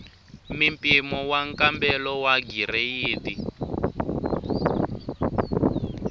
mimpimo wa nkambelo wa gireyidi